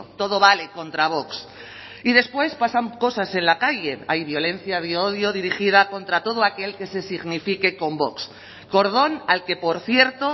todo vale contra vox y después pasan cosas en la calle hay violencia de odio dirigida contra todo aquel que se signifique con vox cordón al que por cierto